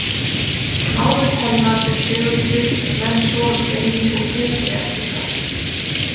Návist hennar er segulsvið sem menn sogast inn í og geta sig ekki hrært.